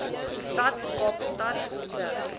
stad kaapstad se